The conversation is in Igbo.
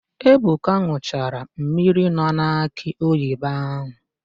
Ebuka n̄ụchara mmiri nọ n'akị oyibo ahụ.